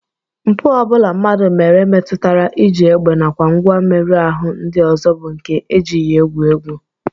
Mpụ ọ bụla mmadụ mere metụtara iji egbe nakwa ngwa mmerụ ahụ ndị ọzọ bụ nke e jighị egwu egwu